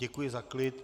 Děkuji za klid.